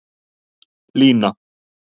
Lína